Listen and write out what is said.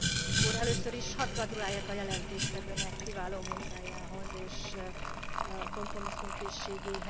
Először is hadd gratuláljak a jelentéstevőnek kiváló munkájához és kompromisszumkészségéhez.